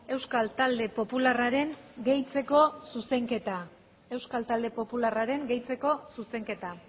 euskal talde popularraren gehitzeko zuzenketa euskal talde popularraren gehitzeko zuzenketa